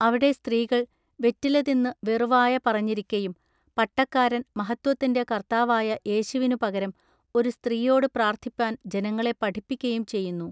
അവിടെ സ്ത്രീകൾ വെറ്റിലതിന്നു വെറുവായ പറഞ്ഞിരിക്കയും പട്ടക്കാരൻ മഹത്വത്തിന്റെ കൎത്താവായ യേശുവിനു പകരം ഒരു സ്ത്രീയോടു പ്രാൎത്ഥിപ്പാൻ ജനങ്ങളെ പഠിപ്പിക്കയും ചെയ്യുന്നു.